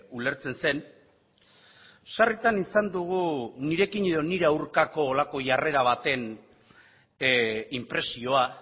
ulertzen zen sarritan izan dugu nirekin edo nire aurkako horrelako jarrera baten inpresioa